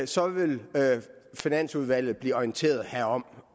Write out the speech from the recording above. så vil finansudvalget blive orienteret herom